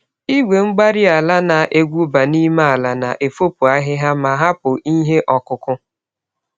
Igwe-mgbárí-ala na-egwuba n'ime ala, na-efopụ ahịhịa, ma hapụ ihe okụkụ.